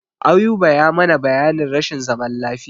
Ayuba ya mana bayanin rashin zaman lafiya.